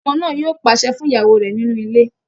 Ọkọ náà yóò pàṣẹ fún ìyàwó rẹ̀ nínú ilé